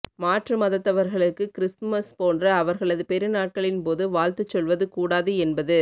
மாற்று மதத்தவர்களுக்கு கிருஸ்துமஸ் போன்ற அவர்களது பெருநாட்களின் போது வாழ்த்துச் சொல்வது கூடாது என்பது